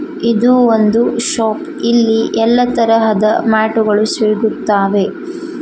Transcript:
ಇದು ಒಂದು ಶಾಪ್ ಇಲ್ಲಿ ಎಲ್ಲ ತರಹದ ಮ್ಯಾಟ್ ಗಳು ಸಿಗುತ್ತಾವೆ